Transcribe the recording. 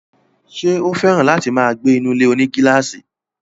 Ṣé ó fẹ́ràn láti máa gbé inú ilé-onígílàsì?